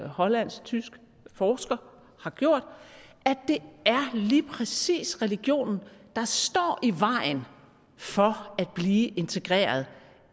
hollandsk tysk forsker har gjort at det er lige præcis religionen der står i vejen for at blive integreret